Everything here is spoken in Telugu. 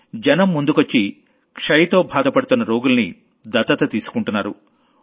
జనం ముందుకొచ్చి టీబీతో బాధపడుతున్న రోగుల్ని దత్తత తీసుకుంటున్నారు